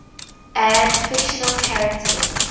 add fictional characters